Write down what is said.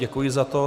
Děkuji za to.